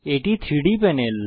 এটি 3ডি প্যানেল